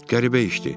Qəribə işdi.